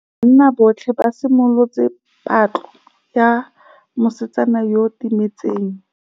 Banna botlhê ba simolotse patlô ya mosetsana yo o timetseng.